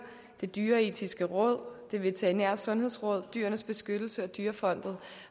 det dyreetiske råd det veterinære sundhedsråd dyrenes beskyttelse og dyrefondet